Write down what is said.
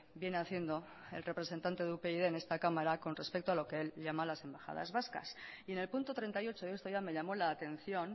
viene haciendo el representante de upyd en esta cámara con respecto a los que él llama las embajadas vascas y en el punto treinta y ocho esto ya me llamó la atención